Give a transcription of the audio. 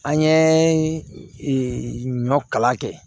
An ye ɲɔ kala kɛ